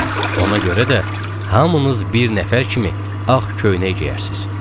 Ona görə də, hamınız bir nəfər kimi ağ köynək geyərsiniz.